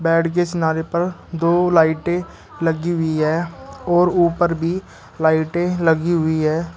Side के किनारे पर दो लाइटें लगी हुई है और ऊपर भी लाइटें लगी हुई है।